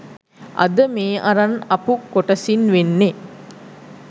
අද මේ අරන් අපු කොටසින් වෙන්නෙ